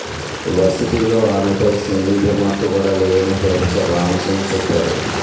వర్సిటీలో ఆమెపై single remark కూడా లేదని ప్రొఫెసర్ రామ్ సింగ్ చెప్పారు